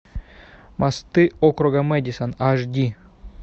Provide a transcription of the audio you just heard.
мосты округа мэдисон аш ди